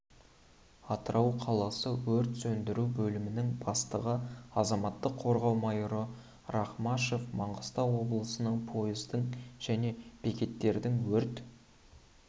атырау қаласы өрт сөндіру бөлімінің бастығы азаматтық қорғау майоры рахмашев маңғыстау облысының пойыздың және бекеттердің өрт